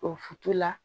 O fitu la